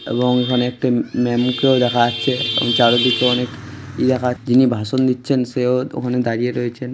এবং ওখানে একটা ম্যা-ম কেও দেখা যাচ্ছে এবং চারিদিকে অনেক ঈ-দেখা- যিনি ভাষণ দিচ্ছেন সেও ওখানে দাঁড়িয়ে রয়েছেন।